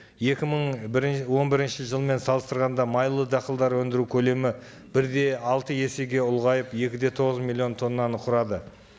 екі мың он бірінші жылмен салыстырғанда майлы дақылдар өндіру көлемі бір де алты есеге ұлғайып екі де тоғыз миллион тоннаны құрады